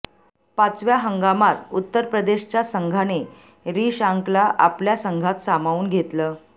पाचव्या हंगामात उत्तर प्रदेशच्या संघाने रिशांकला आपल्या संघात सामावून घेतलं